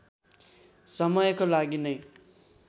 समयको लागि नै